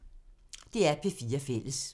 DR P4 Fælles